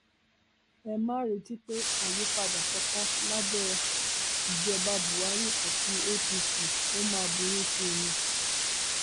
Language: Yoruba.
ẹ má retí pé àyípadà kankan lábẹ ìjọba buhari àti apc ó máa burú sí i ni